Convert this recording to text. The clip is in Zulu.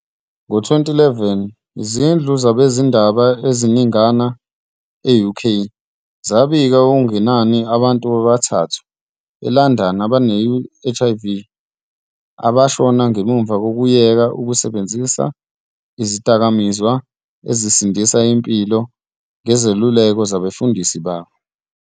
Ngo-2011, izindlu zabezindaba eziningana e-UK zabika okungenani abantu abathathu eLondon abane-HIV abashona ngemuva kokuyeka ukusebenzisa izidakamizwa ezisindisa impilo ngezeluleko zabefundisi babo.